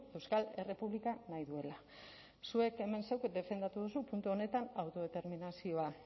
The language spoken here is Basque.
euskal errepublika nahi duela zuek hemen zuk defendatu duzu puntu honetan autodeterminazioa